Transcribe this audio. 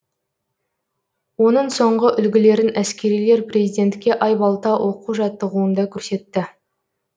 оның соңғы үлгілерін әскерилер президентке айбалта оқу жаттығуында көрсетті